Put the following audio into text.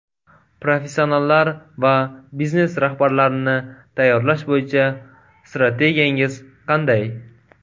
Professionallar va biznes rahbarlarini tayyorlash bo‘yicha strategiyangiz qanday?